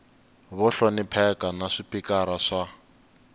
vo hlonipheka na swipikara swa